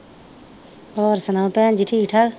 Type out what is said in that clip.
ਹੋਰ ਸੁਣਾ ਭੈਣ ਜੀ ਠੀਕ ਠਾਕ